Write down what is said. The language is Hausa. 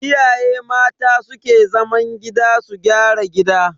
Iyaye mata su ke zaman gida su gyara gida.